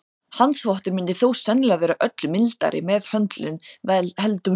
Handþvottur myndi þó sennilega vera öllu mildari meðhöndlun heldur en þvottavélin.